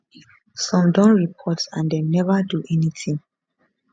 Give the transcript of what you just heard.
some don report and dem neva do any tin